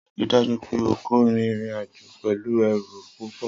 Rii daju pe o ko rin irin-ajo pẹlu ẹru pupọ!